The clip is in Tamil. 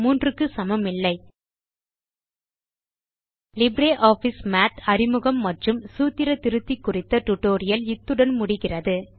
3 க்கு சமமில்லை லிப்ரியாஃபிஸ் மாத் அறிமுகம் மற்றும் சூத்திர திருத்தி குறித்த டியூட்டோரியல் இத்துடன் நிறைவு பெறுகிறது